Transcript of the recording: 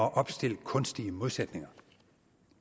at opstille kunstige modsætninger